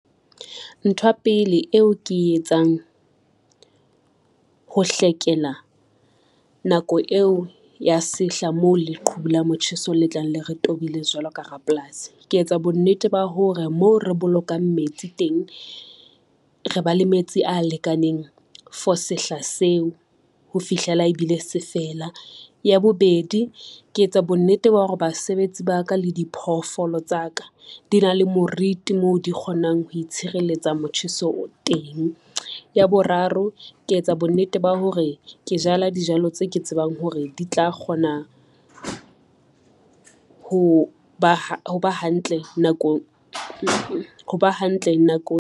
Ntho ya pele eo ke e etsang, ho hlekela nako eo ya sehla mo leqhubu la motjheso le tlang le re tobile jwalo ka rapolasi. Ke etsa bonnete ba hore moo re bolokang metsi teng, re ba le metsi a lekaneng for sehla seo, ho fihlela ebile sefela. Ya bobedi, ke etsa bonnete ba hore basebetsi ba ka le diphoofolo tsa ka di na le moriti mo di kgonang ho itshireletsa motjheso oo teng. Ya boraro ke etsa bonnete ba hore ke jala dijalo tse ke tsebang hore di tla kgona ho ba hantle nakong.